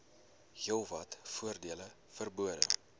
heelwat voordele verbonde